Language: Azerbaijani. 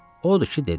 Odur ki, dedi: